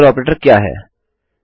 logical operator क्या है160